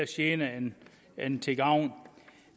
gene end til gavn